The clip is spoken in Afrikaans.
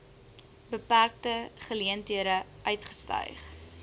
beperkte geleenthede uitgestyg